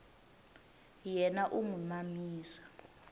yena u n wi mamisa